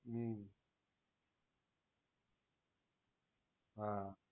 હમ્મ હા